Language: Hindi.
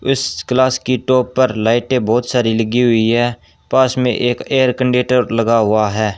इस क्लास की टॉप पर लाइटें बहोत सारी लगी हुई है पास में एक एयर कंडक्टर लगा हुआ है।